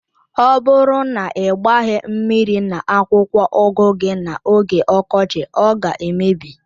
Ọ bụrụ na ị gbaghi mmiri na akwụkwọ ugu gi na oge ọkọchị ọ ga emebi.